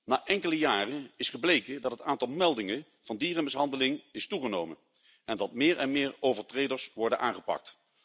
Na enkele jaren is gebleken dat het aantal meldingen van dierenmishandeling is toegenomen, en dat meer en meer overtreders worden aangepakt.